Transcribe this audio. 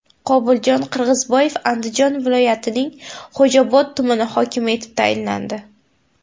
Qobuljon Qirg‘izboyev Andijon viloyatining Xo‘jaobod tumani hokimi etib tayinlandi.